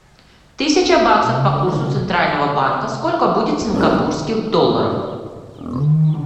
тысяча баксов по курсу центрального банка сколько будет сингапурских долларов